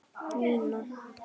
Nína!